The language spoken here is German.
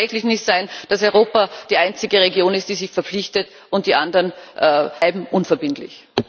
Es kann tatsächlich nicht sein, dass Europa die einzige Region ist, die sich verpflichtet, und die anderen bleiben unverbindlich.